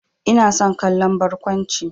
Ina son kallon barkwanci.